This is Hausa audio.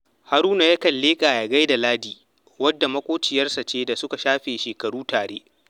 Haruna yakan leƙa ya gai da Ladi, wadda maƙociyarsa ce da suka shafe shekaru tare